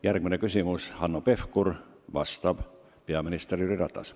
Järgmine küsimus on Hanno Pevkurilt ja vastab peaminister Jüri Ratas.